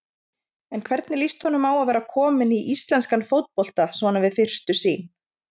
En hvernig líst honum á að vera kominn í íslenskan fótbolta svona við fyrstu sýn?